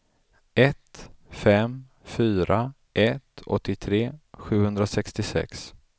ett fem fyra ett åttiotre sjuhundrasextiosex